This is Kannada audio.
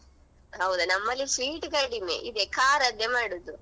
ಹೌದಾ ನಮ್ಮಲ್ಲಿ sweet ಕಡಿಮೆ ಇದೆ ಖಾರ ದ್ದೇ ಮಾಡುದು.